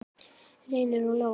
Reynir og Lóa.